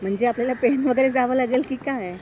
म्हणजे आपल्याला पेण वगैरे जावं लागेल की काय?